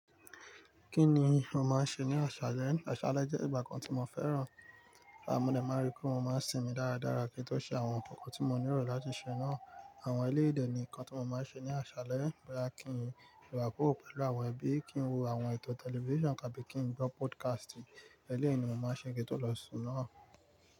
Kí ni mo máa ń ṣe ní àṣálẹ́? Àṣálẹ́ jẹ́ ìgbà kan tí mo fẹ́ràn. Àmọ́, mo máa ń ríi pé mo máa ń sinmi dáradára kí n tó ṣe àwọn ǹkan tí mo nírò láti ṣe náà. Àwọn eléèyi dè nìkan tó mo máa ń ṣe ní àṣálẹ́. Mo máa kí ńlo akoko pẹ̀lú àwọn ẹbí, kí n wo àwọn ètò tẹlifíṣàn ká bí i kí n gbọ́ podcast. Lẹ́yìn ni mo máa ṣe kí n tó lọ sùn náà.